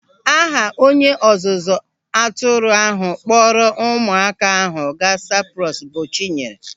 Aha onye ọzụzụ atụrụ ahụ kpọrọ ụmụaka ahụ gaa Saịprọs bụ Chinyere.